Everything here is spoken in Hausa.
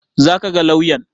Za ka ga lauyan?